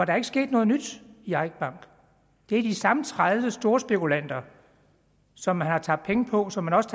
er ikke sket noget nyt i eik bank det er de samme tredive storspekulanter som man har tabt penge på og som man også